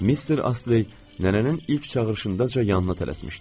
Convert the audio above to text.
Mister Asley nənənin ilk çağırışındaca yanına tələsmişdi.